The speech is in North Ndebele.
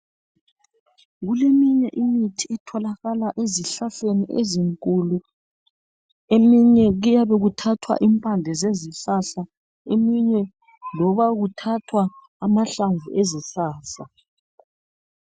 Kuleminye imithi etholakala ezihlahleni ezinkulu eminye kuyabe kuthathwa impande zezihlahla eminye loba kuthathwa amahlamvu ezihlahla